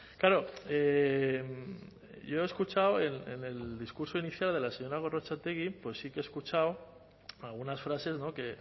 claro yo he escuchado en el discurso inicial de la señora gorrotxategi pues sí que he escuchado algunas frases que